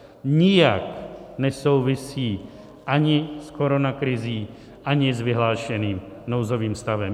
Nijak nesouvisí ani s koronakrizí, ani s vyhlášeným nouzovým stavem.